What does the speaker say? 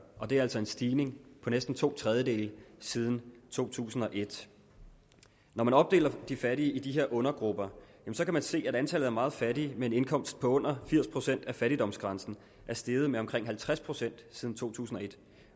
og det er altså en stigning på næsten to tredjedele siden to tusind og et når man opdeler de fattige i de her undergrupper kan man se at antallet af meget fattige med en indkomst på under firs procent af fattigdomsgrænsen er steget med omkring halvtreds procent siden to tusind og et